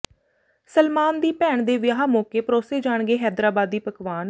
ਸਲਮਾਨ ਦੀ ਭੈਣ ਦੇ ਵਿਆਹ ਮੌਕੇ ਪਰੋਸੇ ਜਾਣਗੇ ਹੈਦਰਾਬਾਦੀ ਪਕਵਾਨ